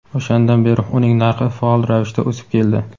O‘shandan beri uning narxi faol ravishda o‘sib keldi.